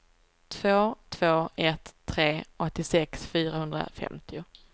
två två ett tre åttiosex fyrahundrafemtio